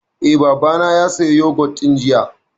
Eh, Baba na ya saya yogut ɗin jiya